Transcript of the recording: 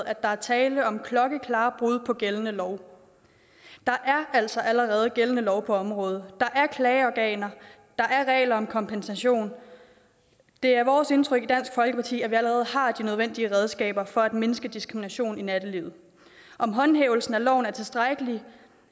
at der er tale om klokkeklare brud på gældende lov der er altså allerede gældende lov på området der er klageorganer der er regler om kompensation det er vores indtryk i dansk folkeparti at vi allerede har de nødvendige redskaber for at mindske diskrimination i nattelivet om håndhævelsen af loven er tilstrækkelig